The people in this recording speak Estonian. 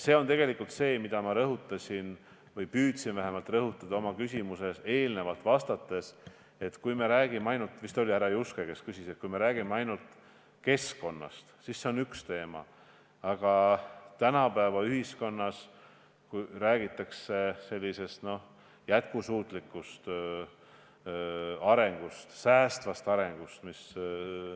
See on tegelikult see, mida ma rõhutasin või vähemalt püüdsin rõhutada eelnevalt vastates, et kui me räägime – vist oli härra Juske, kes küsis – ainult keskkonnast, siis see on üks teema, aga tänapäeva ühiskonnas räägitakse jätkusuutlikust arengust, säästvast arengust.